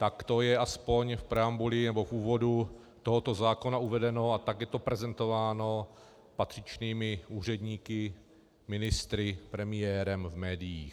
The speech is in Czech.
Tak to je aspoň v preambuli nebo v úvodu tohoto zákona uvedeno a tak je to prezentováno patřičnými úředníky, ministry, premiérem v médiích.